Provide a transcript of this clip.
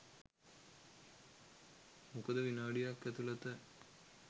මොකද විනාඩියක් ඇතුලත